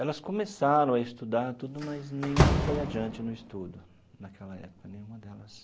Elas começaram a estudar tudo, mas nenhuma foi adiante no estudo naquela época, nenhuma delas.